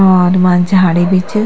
और वां झाड़ी भी च।